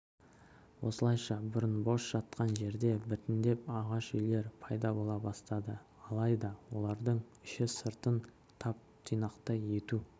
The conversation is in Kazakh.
осылайша бұрын бос жатқан жерде біртіндеп ағаш үйлер пайда бола бастады алайда олардың іші-сыртын тап-тұйнақтай ету